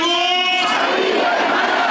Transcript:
Haqq Əli!